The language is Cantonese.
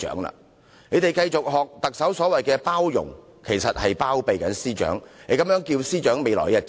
他們繼續像特首那樣"包容"，其實只是"包庇"，這樣司長未來的日子將如何是好？